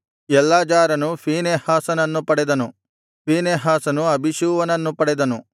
ಎಲ್ಲಾಜಾರನು ಫೀನೆಹಾಸನನ್ನು ಪಡೆದನು ಫೀನೆಹಾಸನು ಅಬೀಷೂವನನ್ನು ಪಡೆದನು